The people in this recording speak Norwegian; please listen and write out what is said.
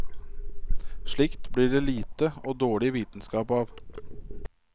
Slikt blir det lite og dårlig vitenskap av.